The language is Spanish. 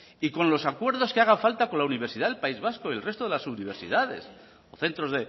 y con los acuerdos que haga falta con la universidad del país vasco y el resto de las universidades o centros